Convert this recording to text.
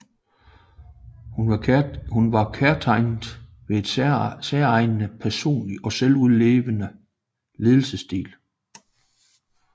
Hun var kendetegnet ved en særegen personlig og selvudleverende ledelsesstil